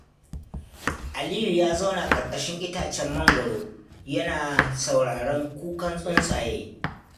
Aliyu ya zauna ƙarƙashin itacen mangoro yana sauraron kukan tsuntsaye.